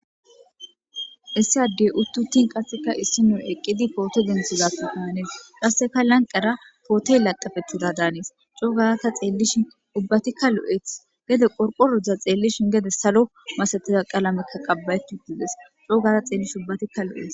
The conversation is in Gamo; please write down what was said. issi addey uttuttin qasseka issi nun eqqidi pooto denthizatu honnees qasseka lanqara pootoy laqqafethida daanis coo garata xeellishin ubbatikka lo7eeth gede qorqorozdza xeellishin gede salo masatiza qalamekka qabba7etudides coo gara xeellish ubbatikka lo7eet